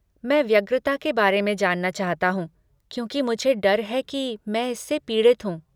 मैं व्यग्रता के बारे में जानना चाहता हूँ क्योंकि मुझे डर है कि मैं इससे पीड़ित हूँ।